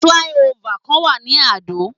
Fly over kan wà ní Adó.